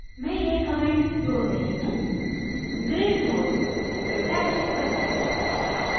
मैं यह comment node रही हूँgreat node! fantastic content